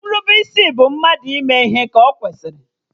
Nrubeisi bụ mmadụ ịme ihe ka ọkwesịrị